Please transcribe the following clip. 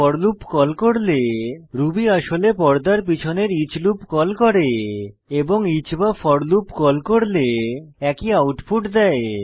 four loop call করলে Ruby আসলে পর্দার পিছনের ইচ লুপ কল করে এবং ইচ বা ফোর কল করলে একই আউটপুট দেয়